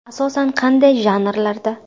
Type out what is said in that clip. Asosan qanday janrlarda?